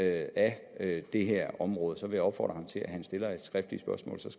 af det her område så vil jeg opfordre til at han stiller et skriftligt spørgsmål så